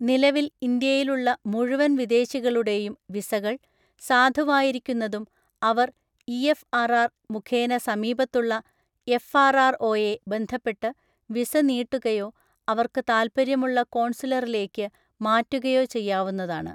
നിലവിൽ ഇന്ത്യയിലുള്ള മുഴുവൻ വിദേശികളുടെയും വിസകൾ, സാധുവായിരിക്കുന്നതും അവർ ഇഎഫ്ആർആർ മുഖേന സമീപത്തുള്ള എഫ്ആർആർഓയെ ബന്ധപ്പെട്ട് വിസ നീട്ടുകയോ, അവർക്ക് താല്പര്യമുള്ള കോൺസുലറിലേക്ക് മാറ്റുകയോ ചെയ്യാവുന്നതാണ്.